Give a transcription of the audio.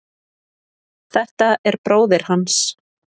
Þetta er bróðir hans.